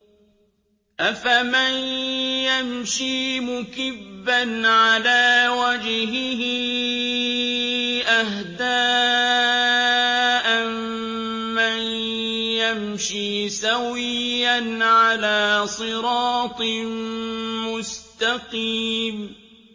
أَفَمَن يَمْشِي مُكِبًّا عَلَىٰ وَجْهِهِ أَهْدَىٰ أَمَّن يَمْشِي سَوِيًّا عَلَىٰ صِرَاطٍ مُّسْتَقِيمٍ